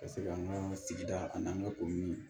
Ka se ka an ka sigida ani an ka ko min